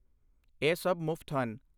ਇਹ ਸਭ ਮੁਫਤ ਹਨ।